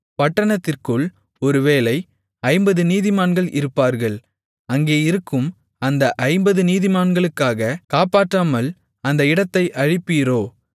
பட்டணத்திற்குள் ஒருவேளை ஐம்பது நீதிமான்கள் இருப்பார்கள் அங்கேயிருக்கும் அந்த ஐம்பது நீதிமான்களுக்காகக் காப்பாற்றாமல் அந்த இடத்தை அழிப்பீரோ